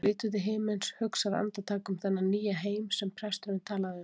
Hún lítur til himins, hugsar andartak um þennan nýja heim sem presturinn talaði um.